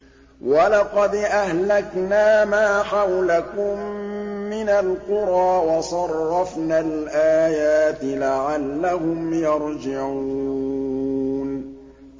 وَلَقَدْ أَهْلَكْنَا مَا حَوْلَكُم مِّنَ الْقُرَىٰ وَصَرَّفْنَا الْآيَاتِ لَعَلَّهُمْ يَرْجِعُونَ